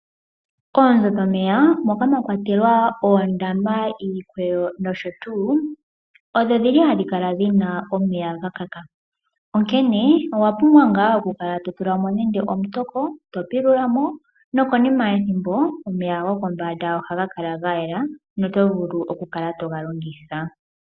Oonzo dhomeya moka mwa kwatelwa oondama, iikweyo noshotuu, odho dhili hadhi kala dhina omeya gakaka, onkene owapumbwa okutulamo nande omutoko , to pilulamo, nokonima yethimbo omeya gopombanda ohaga kala gayela notuvulu okuga longitha.